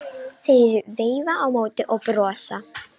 Þeir veifa á móti og brosa.